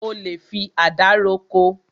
O lè fi àdá roko.